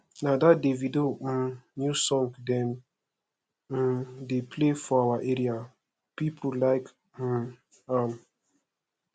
na that davido um new song dem um dey play for our area people like um am